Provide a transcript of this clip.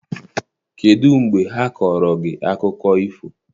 Kedụ mgbe ha kọọrọ gị akụkọ ifo?